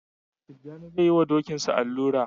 Tijjani zai yi wa Dokinsa allura